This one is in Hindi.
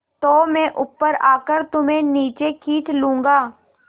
तो मैं ऊपर आकर तुम्हें नीचे खींच लूँगा